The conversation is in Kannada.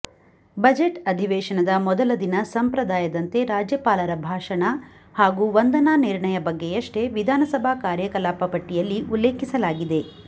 ಬಜೆಟ್ ಅಧಿವೇಶನದ ಮೊದಲ ದಿನ ಸಂಪ್ರದಾಯದಂತೆ ರಾಜ್ಯಪಾಲರ ಭಾಷಣ ಹಾಗೂ ವಂದನಾ ನಿರ್ಣಯ ಬಗ್ಗೆಯಷ್ಟೇ ವಿಧಾನಸಭಾ ಕಾರ್ಯಕಲಾಪ ಪಟ್ಟಿಯಲ್ಲಿ ಉಲ್ಲೇಖಿಸಲಾಗಿದೆ